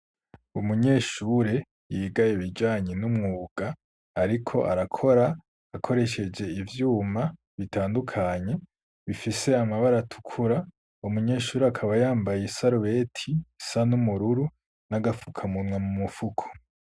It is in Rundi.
Umunyeshure yigaye bijanye n'umwuga, ariko arakora akoresheje ivyuma bitandukanye bifise amabara tukura umunyeshure akaba yambaye isarubeti sa n'umururu n'agapfukamunwa mu mupfuku.